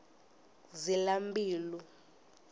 zilambilu